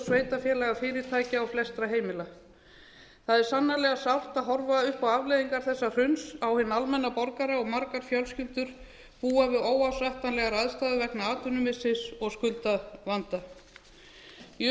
sveitarfélaga fyrirtækja og flestra heimila það er sannarlega sárt að horfa upp á afleiðingar þessa hruns á hinn almenna borgara og margar fjölskyldur búa við óásættanlegar aðstæður vegna atvinnumissis og skuldavanda í